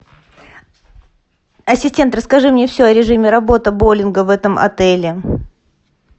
ассистент расскажи мне все о режиме работы боулинга в этом отеле